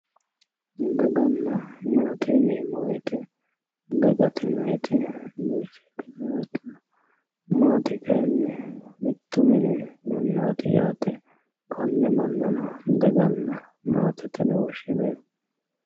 Dagana maate yinemo woyiye dagate yinayiti batiynete maate kayini mittu mini manati yaate kone manano dagana maatete yine woshineemo.